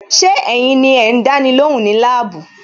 Ṣé ẹ̀yin ni ẹ ń dáni lóhùn ní labuu?